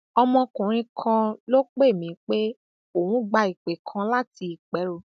ọmọkùnrin kan ló um pè mí pé òun gba ìpè um kan láti ìpẹrù